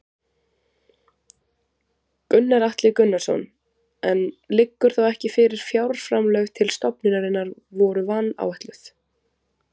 Gunnar Atli Gunnarsson: En liggur þá ekki fyrir að fjárframlög til stofnunarinnar voru vanáætluð?